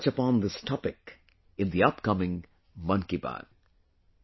I will also touch upon this topic in the upcoming ‘Mann Ki Baat’